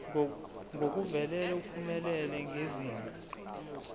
ngokuvelele uphumelele ngezinga